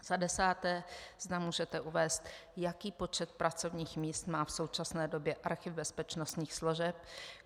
Za desáté, zda můžete uvést, jaký počet pracovních míst má v současné době Archiv bezpečnostních složek.